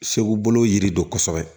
Segu bolo yiri don kosɛbɛ